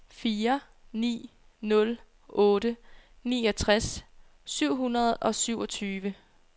fire ni nul otte niogtres syv hundrede og syvogtyve